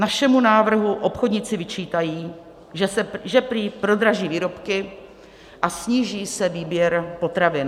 Našemu návrhu obchodníci vyčítají, že prý prodraží výrobky a sníží se výběr potravin.